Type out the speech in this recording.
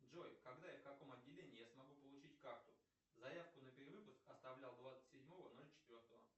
джой когда и в каком отделении я смогу получить карту заявку на перевыпуск оставлял двадцать седьмого ноль четвертого